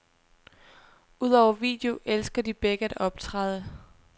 Udover video elsker de begge at optræde.